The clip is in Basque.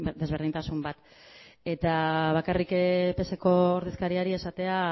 desberdintasun bat eta bakarrik pseko ordezkariari esatea